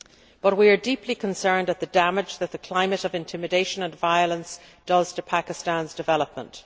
But we are deeply concerned at the damage that the climate of intimidation and violence is doing to Pakistan's development.